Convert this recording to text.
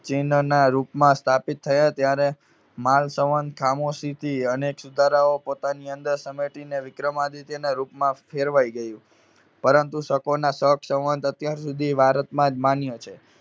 ચિહ્નના રૂપમાં સ્થાપિત થયા, ત્યારે માલ સંવંત ખામોશીથી અનેક સુધારાઓ પોતાની અંદર સમેટીને વિક્રમાદિત્યના રૂપમાં ફેરવાઈ ગયું. પરંતુ શકોના શક સંવંત અત્યાર સુધી ભારતમાં જ માન્ય છે.